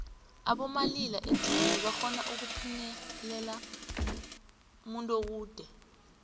abomalila edinini barhona ukupinyelela umuntuokude